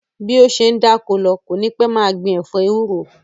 Bí ó ṣe ń dáko lọ, kò ní pẹ́ máa gbin ẹ̀fọ́ ewúro